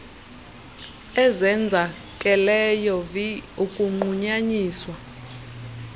ezenzakeleyo vi ukunqunyanyiswa